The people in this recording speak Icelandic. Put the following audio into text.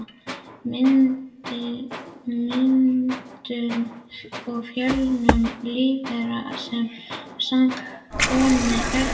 Myndun og fjölgun lífvera sem hafa sams konar erfðaefni.